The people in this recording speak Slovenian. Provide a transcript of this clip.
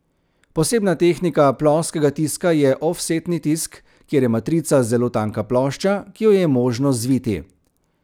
Posebna tehnika ploskega tiska je ofsetni tisk, kjer je matrica zelo tanka plošča, ki jo je možno zviti.